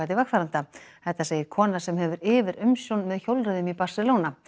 vegfarenda þetta segir kona sem hefur yfirumsjón með hjólreiðum í Barcelona